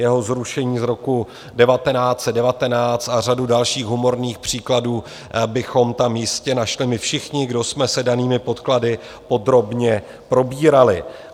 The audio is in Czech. Jeho zrušení z roku 1919 a řadu dalších humorných příkladů bychom tam jistě našli my všichni, kdo jsme se danými podklady podrobně probírali.